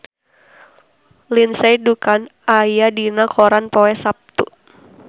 Lindsay Ducan aya dina koran poe Saptu